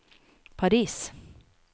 Paris